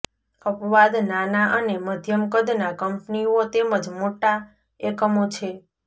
અપવાદ નાના અને મધ્યમ કદના કંપનીઓ તેમજ મોટા એકમો છે